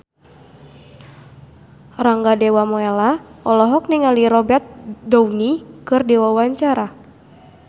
Rangga Dewamoela olohok ningali Robert Downey keur diwawancara